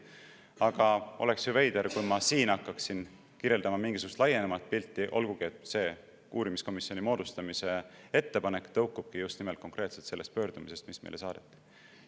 Aga oleks ju veider, kui ma siin hakkaksin kirjeldama mingisugust laiemat pilti, olgugi et uurimiskomisjoni moodustamise ettepanek tõukub just nimelt konkreetselt sellest pöördumisest, mis meile saadeti.